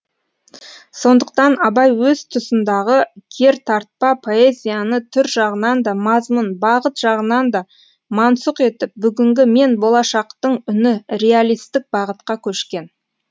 сондықтан абай өз тұсындағы кертартпа поэзияны түр жағынан да мазмұн бағыт жағынан да мансұқ етіп бүгінгі мен болашақтың үні реалистік бағытқа көшкен